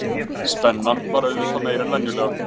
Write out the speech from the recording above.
Spennan var auðvitað meiri en venjulega